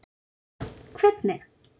Helga: Hvernig?